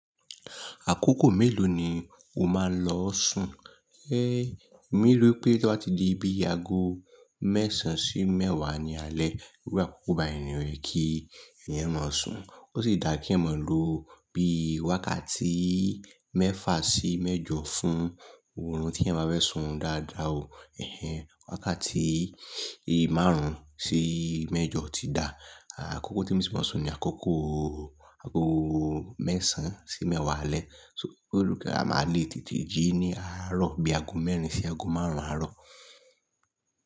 Àkókò mélòó ni o máa lọ sùn? Èmi rí i pé tí ó bá ti di bí i ago mẹ́sàn sí mẹ́wàá ní alẹ́, iru àkókò ba ẹni rẹ̀ kí ẹ̀yàn máa sùn. Ó sì dà kí ẹ̀yan máa lo bí i wákàtí mẹ́fà sí mẹ́jọ fún òórùn tí ẹyan bá fẹ́ sùn orunbdáadáa o, wákàtí márùn-ún sí mẹ́jọ ti dà. Àkókò tí mo ti máa ń sùn ni àkókò ago mẹ́sàn sí mẹ́wàá alẹ́. So pé òní kí á máa le tètè jí ní àárọ̀ bí i ago mẹ́rin sí ago márùn-ún àárọ̀.